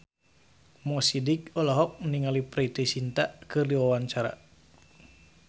Mo Sidik olohok ningali Preity Zinta keur diwawancara